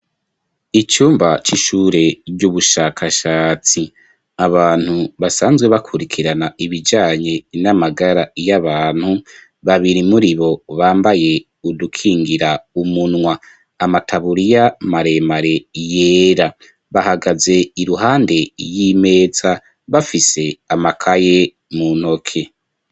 Icumba c'ishure ry'ubushakashatsi. Abantu basanzwe bakurikirana ibijanye n'amagara y'abantu, babiri muri bo bambaye udukingira umunwa amataburiya maremare yera, bahagaze iruhande y'imeza bafise amakaye mu ntoke.